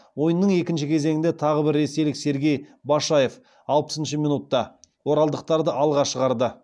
ойынның екінші кезеңінде тағы бір ресейлік сергей башаев оралдықтарды алға шығарды